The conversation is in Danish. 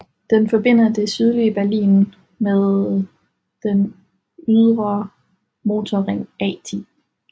Den forbinder det sydøstlige Berlin med den ydre motorring A 10